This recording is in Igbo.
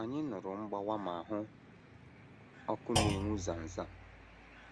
Anyị nụrụ mgbawa ma hụ ọkụ na - enwu zam zam.